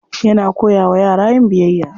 Yana koya wa yara yin biyayya.